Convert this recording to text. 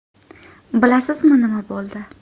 Bilasizmi, nima bo‘ldi?